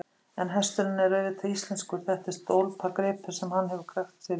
En hesturinn er auðvitað íslenskur, þetta er stólpagripur sem hann hefur krækt sér í.